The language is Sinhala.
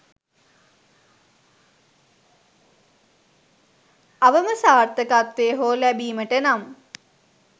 අවම සාර්ථකත්වය හෝ ලැබීමට නම්